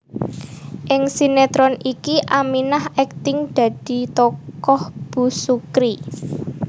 Ing sinétron iki Aminah akting dadi tokoh Bu Sukri